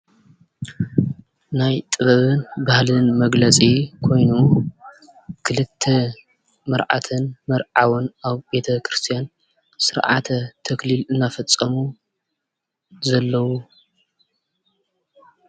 ናይ ጥበብን ባህልን መግለፂ ኮይኑ ክልተ መርዓትን መርዓውን አብ ቤተክርስቲያን ስርዓተ ተክሊል እናፈፀሙ ዘለው።